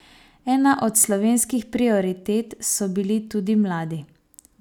Ena od slovenskih prioritet so bili tudi mladi.